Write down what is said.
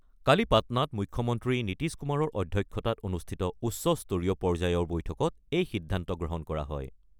কালি পাটনাত মুখ্যমন্ত্ৰী নীতিশ কুমাৰৰ অধ্যক্ষতাত অনুষ্ঠিত উচ্চ স্তৰীয় পৰ্যায়ৰ বৈঠকত এই সিদ্ধান্ত গ্ৰহণ কৰা হয়।